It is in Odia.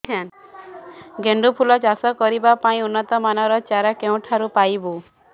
ଗେଣ୍ଡୁ ଫୁଲ ଚାଷ କରିବା ପାଇଁ ଉନ୍ନତ ମାନର ଚାରା କେଉଁଠାରୁ ପାଇବୁ